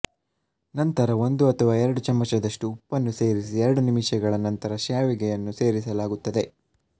ನಂತರ ಒಂದು ಅಥವಾ ಎರಡು ಚಮಚದಷ್ಟು ಉಪ್ಪನ್ನು ಸೇರಿಸಿ ಎರಡು ನಿಮಿಷಗಳ ನಂತರ ಶ್ಯಾವಿಗೆಯನ್ನು ಸೇರಿಸಲಾಗುತ್ತದೆ